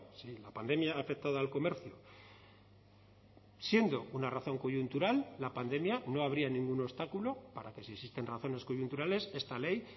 sí la pandemia ha afectado al comercio siendo una razón coyuntural la pandemia no habría ningún obstáculo para que si existen razones coyunturales esta ley